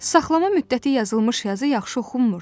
Saxlama müddəti yazılmış yazı yaxşı oxunmurdu.